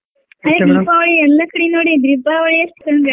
ದೀಪಾವಳಿ ಎಲ್ಲಾ ಕಡೆ ನೋಡಿನ್ರೀ ದೀಪಾವಳಿ .